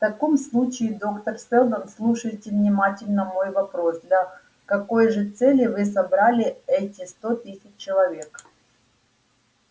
в таком случае доктор сэлдон слушайте внимательно мой вопрос для какой же цели вы собрали эти сто тысяч человек